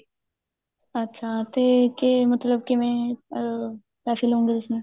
ਅੱਛਾ ਤੇ ਕੇ ਮਤਲਬ ਕਿਵੇਂ ਅਹ ਪੈਸੇ ਲੈਂਦੇ ਓ ਤੁਸੀਂ